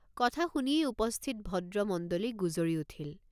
কথা শুনিয়েই উপস্থিত ভদ্ৰমণ্ডলী গুজৰি উঠিল।